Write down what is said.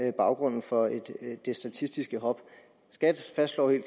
er baggrunden for det statistiske hop skat fastslår jo